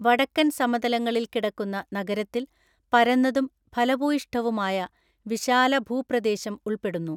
വടക്കൻ സമതലങ്ങളിൽ കിടക്കുന്ന നഗരത്തിൽ പരന്നതും ഫലഭൂയിഷ്ഠവുമായ വിശാലഭൂപ്രദേശം ഉൾപ്പെടുന്നു.